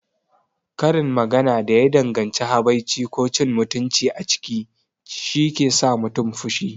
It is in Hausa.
Karin magana da ya danganci habaici ko cin mutunci a ciki shike sa mutum fushi.